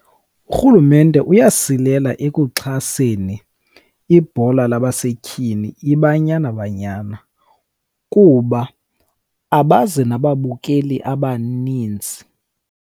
Urhulumente uyasilela ekuxhaseni ibhola labasetyhini, iBanyana Banyana, kuba abazi nababukeli abaninzi.